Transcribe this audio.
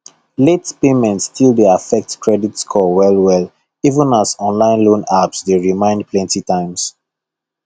late payment still dey affect credit score well well even as online loan apps dey remind plenty times